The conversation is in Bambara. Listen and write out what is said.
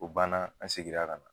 O banna an segira ka na.